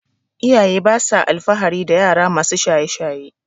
iyaye basa alfahari dayara masu shaye shaye